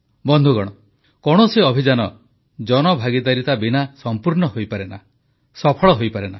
ବନ୍ଧୁଗଣ କୌଣସି ଅଭିଯାନ ଜନଭାଗିଦାରିତା ବିନା ସମ୍ପୂର୍ଣ୍ଣ ହୋଇପାରେନା ସଫଳ ହୋଇପାରେନା